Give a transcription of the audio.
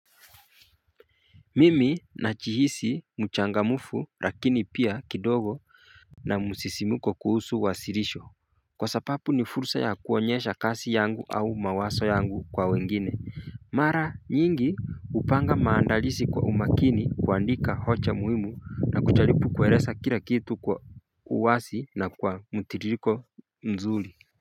Mimi na jihisi mchangamfu lakini pia kidogo na msisimko kuhusu wasirisho Kwa sababu ni fursa ya kuonyesha kazi yangu au mawazo yangu kwa wengine Mara nyingi hupanga maandalizi kwa umakini kuandika hoja muhimu na kujaribub kueleza kila kitu kwa uwazi na kwa mtiririko mzuri.